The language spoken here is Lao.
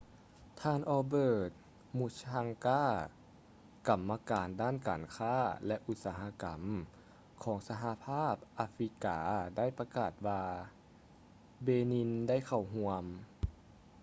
ທ່ານ albert muchanga ກຳມະການດ້ານການຄ້າ ແລະ ອຸດສະຫະກຳ ຂອງສະຫະພາບອາຟຣິກາໄດ້ປະກາດວ່າ benin ໄດ້ເຂົ້າຮ່ວມ